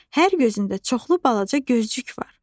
Hər gözündə çoxlu balaca gözcük var.